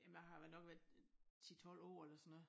Jamen jeg har været nok været 10 12 år eller sådan noget